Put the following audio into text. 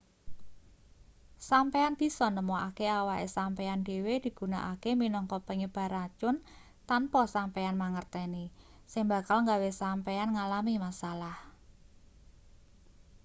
sampeyan bisa nemokake awake sampeyan dhewe digunakake minangka penyebar racun tanpa sampeyan mangerteni sing bakal gawe sampeyan ngalami masalah